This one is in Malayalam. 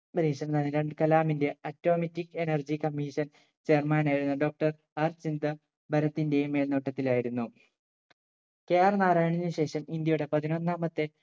പരീക്ഷണം നടന്നത് കലാമിന്റെ automatic energy commission chairman ആയിരുന്ന doctor R ചന്ദ്ര ഭരത്തിന്റെ മേൽനോട്ടത്തിലായിരുന്നു KR നാരായണന് ശേഷം ഇന്ത്യയുടെ പതിനൊന്നാമത്തെ